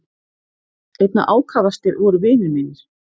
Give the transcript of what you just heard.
Einna ákafastir voru vinir mínir.